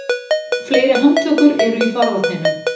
Fleiri handtökur eru í farvatninu